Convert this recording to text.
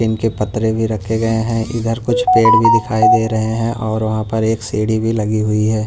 इनके पतरे भी रखे गए हैं इधर कुछ पेड़ भी दिखाई दे रहे हैं और वहां पर एक सीढ़ी भी लगी हुई है।